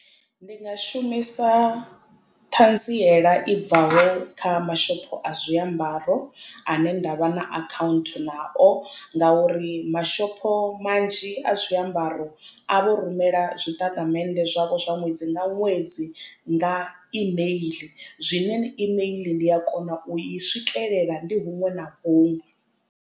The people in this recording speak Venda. Ndi nga shumisa ṱhanziela i bvaho kha mashopho a zwiambaro ane ndavha na account nao ngauri mashopho manzhi a zwiambaro a vho rumela zwitatamennde zwavho zwa ṅwedzi nga ṅwedzi nga email zwine imeiḽi ndi a kona u i swikelela ndi huṅwe na huṅwe.